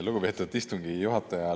Lugupeetud istungi juhataja!